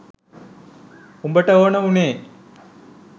උඹට ඕන වුනේ